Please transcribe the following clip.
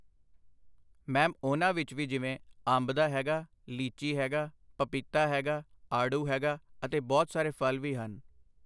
Ma'am ਉਹਨਾਂ ਵਿੱਚ ਵੀ ਜਿਵੇਂ- ਅੰਬ ਦਾ ਹੈਗਾ, ਲੀਚੀ ਹੈਗਾ, ਪਪੀਤਾ ਹੈਗਾ, ਆੜੂ ਹੈਗਾ ਅਤੇ ਬਹੁਤ ਸਾਰੇ ਫ਼ਲ਼ ਵੀ ਹਨ।